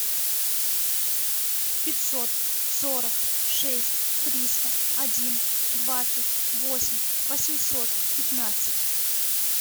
пятьсот сорок шесть триста один двадцать восемь восемьсот пятнадцать